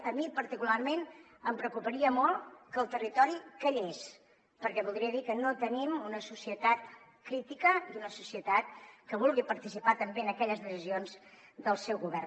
a mi particularment em preocuparia molt que el territori callés perquè voldria dir que no tenim una societat crítica i una societat que vulgui participar també en aquelles decisions del seu govern